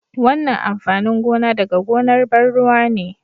wannan amfanin gona daga gonar ban ruwa ne